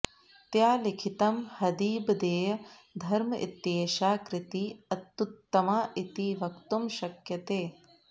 त्या लिखितं हदिबदेय धर्म इत्येषा कृतिः अतुत्तमा इति वक्तुं शक्यते